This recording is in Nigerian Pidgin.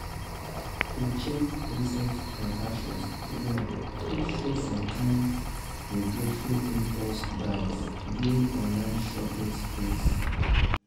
to check recent transactions well fit show some kain regretful impulse buys during online shopping sprees.